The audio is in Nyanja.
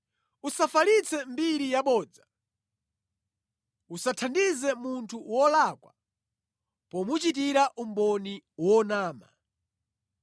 “Usafalitse mbiri yabodza. Usathandize munthu wolakwa pomuchitira umboni wonama.